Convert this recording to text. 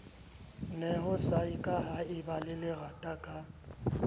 neho sa kahaeba le lerataka